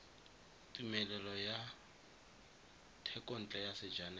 tumelelo ya thekontle ya sejanaga